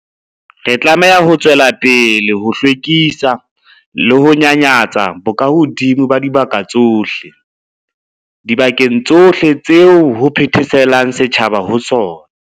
Re tlameha ho tswela pele ho hlwekisa le ho nyanyatsa bokahodimo ba dibaka tsohle, dibakeng tsohle tseo ho phetheselang setjhaba ho tsona.